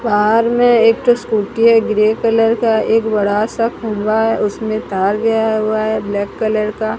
बाहर में एक तो स्कूटी है ग्रे कलर का एक बड़ा सा खंभा है उसमें तार गया हुआ है ब्लैक कलर का।